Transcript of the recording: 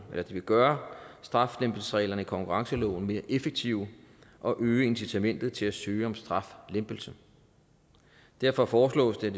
vil gøre straflempelsesreglerne i konkurrenceloven mere effektive og øge incitamentet til at søge om straflempelse derfor foreslås det